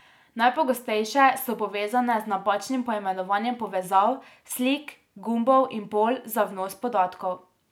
Najpogostejše so povezane z napačnim poimenovanjem povezav, slik, gumbov in polj za vnos podatkov.